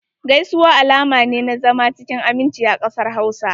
Gaisuwa alama ne na zama cikin aminci a kasar Hausa.